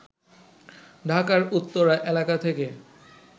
ঢাকার উত্তরা এলাকা থেকে